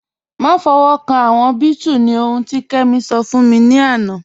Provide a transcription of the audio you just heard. Dúró fífọ̀wọ́kàn awọn bẹẹtù ni ohùn ti Kemi sọ̀ fún mi lánà.